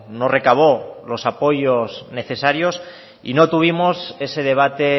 no recabó los apoyos necesarios y no tuvimos ese debate